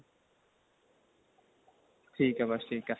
ਠੀਕ ਏ ਬੱਸ ਠੀਕ ਏ